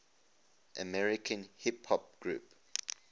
american hip hop groups